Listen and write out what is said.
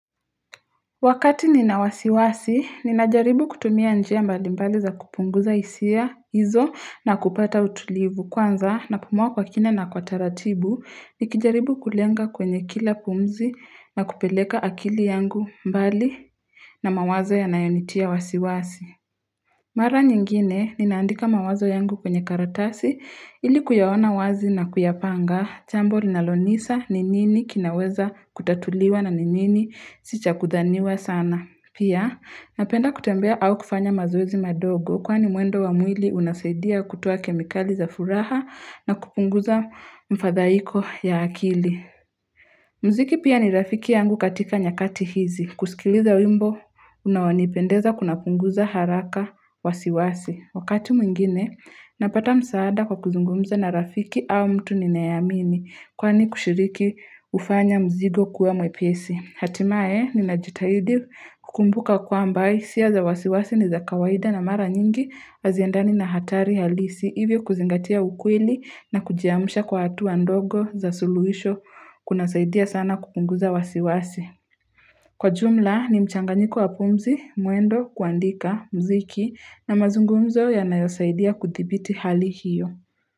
Wakati ninawasiwasi, ninajaribu kutumia njia mbali mbali za kupunguza hisia hizo na kupata utulivu kwanza na pumua kwa kina na kwa taratibu, nikijaribu kulenga kwenye kila pumzi na kupeleka akili yangu mbali na mawazo ya nayonitia wasiwasi. Mara nyingine, ninaandika mawazo yangu kwenye karatasi, ili kuyaoana wazi na kuyapanga, jambo linalonisa, ninini, kinaweza kutatuliwa na ninini, sicha kudhaniwa sana. Pia, napenda kutembea au kufanya mazoezi madogo, kwa ni mwendo wamwili unasaidia kutua kemikali za furaha na kupunguza mfadhaiko ya akili. Mziki pia ni rafiki yangu katika nyakati hizi. Kusikiliza wimbo unawonipendeza kuna punguza haraka wasiwasi. Wakati mwingine napata msaada kwa kuzungumza na rafiki au mtu ninayamini kwani kushiriki ufanya mzigo kuwa mwepesi. Hatimae ni najitahidi kukumbuka kwa ambai siya za wasiwasi ni za kawaida na mara nyingi waziendani na hatari halisi hivyo kuzingatia ukweli na kujiamusha kwa hatuwa ndogo za suluisho kuna saidia sana kukunguza wasiwasi. Kwa jumla ni mchanganyiko wa pumzi, mwendo, kuandika, mziki na mazungumzo ya nayosaidia kuthibiti hali hiyo.